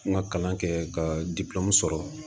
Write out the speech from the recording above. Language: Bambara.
N ka kalan kɛ ka sɔrɔ